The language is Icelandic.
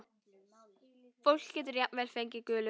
Fólk getur jafnvel fengið gulu.